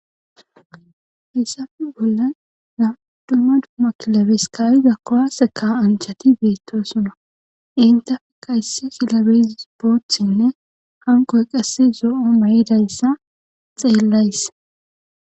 haysafe bolla naddumma dumma kilabeskayiza kowase kaa anchati beettoosuna intafe kaysse kilabes boothtsinne hanqoy qasse zo7o may7idayssa xeellays